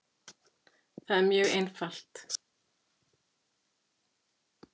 Það er mjög einfalt